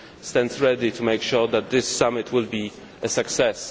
stands ready to make sure that this summit will be a success.